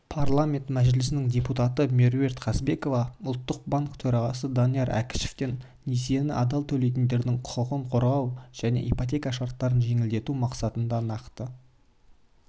парламент мәжілісінің депутаты меруерт қазбекова ұлттық банк төрағасы данияр әкішевтен несиені адал төлейтіндердің құқығын қорғау және ипотека шарттарын жеңілдету мақсатында нақты